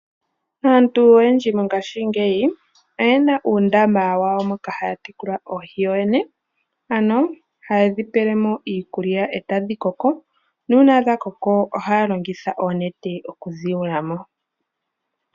Aantu oyendji mongashingeyi oye na uundama wawo moka haya tekula oohi yoyene, ano haye dhi pele mo iikulya e tadhi koko. Uuna dha koko ohaya longitha oonete okudhi yula mo.